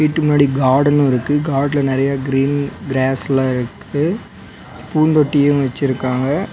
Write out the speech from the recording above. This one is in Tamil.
வீட்டு முன்னாடி கார்டன்னு இருக்கு கார்டன்ல நெறைய கிரீன் கிராஸ் எல்லா இருக்கு பூந்தொட்டியு வெச்சிருக்காங்க.